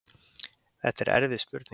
Þetta er erfið spurning.